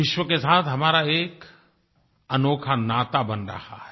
विश्व के साथ हमारा एक अनोखा नाता बन रहा है